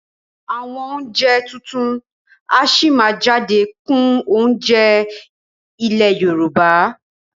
Àwọn oúnjẹ tuntun a sì máa jáde kún oúnjẹ ilé Yorùbá